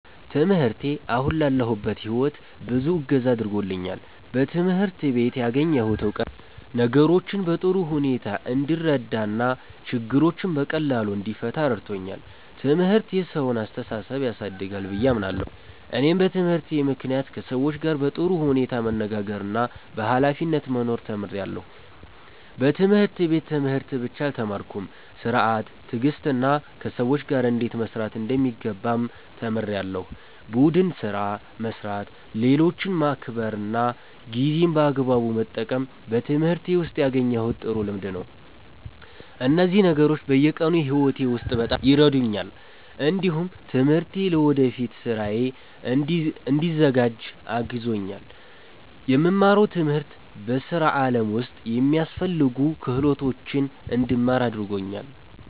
ትምህርቴ አሁን ላለሁበት ሕይወት ብዙ እገዛ አድርጎልኛል። በትምህርት ቤት ያገኘሁት እውቀት ነገሮችን በጥሩ ሁኔታ እንድረዳ እና ችግሮችን በቀላሉ እንድፈታ ረድቶኛል። ትምህርት የሰውን አስተሳሰብ ያሳድጋል ብዬ አምናለሁ። እኔም በትምህርቴ ምክንያት ከሰዎች ጋር በጥሩ ሁኔታ መነጋገርና በኃላፊነት መኖር ተምሬያለሁ። በትምህርት ቤት ትምህርት ብቻ አልተማርኩም፤ ሥርዓት፣ ትዕግስትና ከሰዎች ጋር እንዴት መስራት እንደሚገባም ተምሬያለሁ። ቡድን ስራ መስራት፣ ሌሎችን ማክበር እና ጊዜን በአግባቡ መጠቀም በትምህርቴ ውስጥ ያገኘሁት ጥሩ ልምድ ነው። እነዚህ ነገሮች በየቀኑ ሕይወቴ ውስጥ በጣም ይረዱኛል። እንዲሁም ትምህርቴ ለወደፊት ሥራዬ እንድዘጋጅ አግዞኛል። የምማረው ትምህርት በሥራ ዓለም ውስጥ የሚያስፈልጉ ክህሎቶችን እንድማር አድርጎኛል።